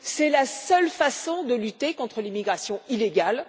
C'est la seule façon de lutter contre l'immigration illégale